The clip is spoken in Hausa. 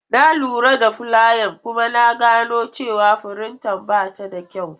Na lura da fulayan kuma na gano cewa firinta ba ta da kyau.